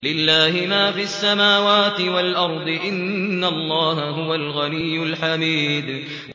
لِلَّهِ مَا فِي السَّمَاوَاتِ وَالْأَرْضِ ۚ إِنَّ اللَّهَ هُوَ الْغَنِيُّ الْحَمِيدُ